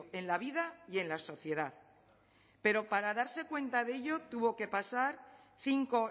en la vida y en la sociedad pero para darse cuenta de ello tuvo que pasar cinco